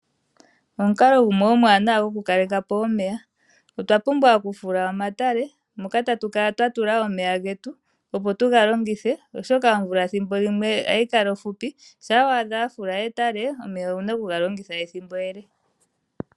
Omukalo omwana goku kaleka po omeya otwa pumbwa okufula oomatale moka tatukala twa tula omeya getu opo tu galongithe oshoka omvula ethimbo limwe ohayi kala ofupi sha wa a dha wa fula etale omeya owuna oku galongitha ethimbo ele .